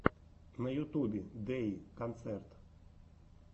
на ютубе дэйи концерт